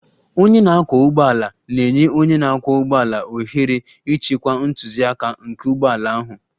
Onye na-akwọ ụgbọala na-enye onye ọkwọ ụgbọala ohere ịchịkwa ntụziaka nke ụgbọ ala ahụ.